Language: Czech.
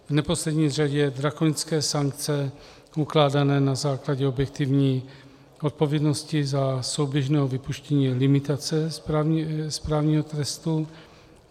V neposlední řadě drakonické sankce ukládané na základě objektivní odpovědnosti za souběžného vypuštění limitace správního trestu.